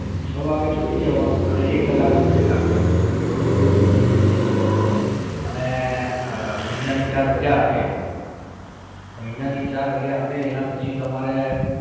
છ વાગે છૂટી જવાનું અને એક કલાક નો break આપે આપણને અને મહિનાની ચાર રાજા આપે મહિના ની ચાર રાજા આપે એના પછી તમારે